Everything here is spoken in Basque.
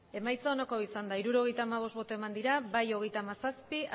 emandako botoak hirurogeita hamabost bai hogeita hamazazpi